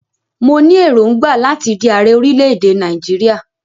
Mo ní èròngbà láti di ààrẹ orílẹ̀-èdè Nàìjíríà.